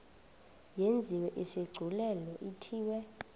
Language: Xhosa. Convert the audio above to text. yenziwe isigculelo ithiwe